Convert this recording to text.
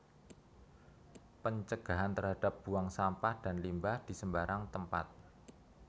Pencegahan terhadap buang sampah dan limbah di sembarang tempatc